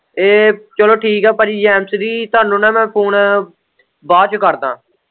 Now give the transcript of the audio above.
ਇਹ ਚੱਲੋ ਠੀਕ ਏ ਭਾਜੀ ਜੈੱਮ ਸ਼ੀ੍ ਤੁਹਾਨੂੰ ਨਾ ਮੈਂ ਫੂਨ ਬਾਅਦ ਚ ਕਰਦਾ।